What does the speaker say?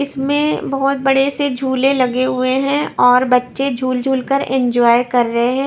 इसमें बहुत बड़े से झूले लगे हुए हैं और बच्चे झूल झूल कर एंजॉय कर रहे हैं।